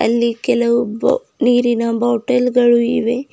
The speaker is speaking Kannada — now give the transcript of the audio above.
ಇಲ್ಲಿ ಕೆಲವು ಬೊ ನೀರಿನ ಬೊಟಲ್ ಗಳು ಇವೆ.